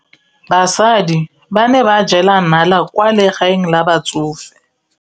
Basadi ba ne ba jela nala kwaa legaeng la batsofe.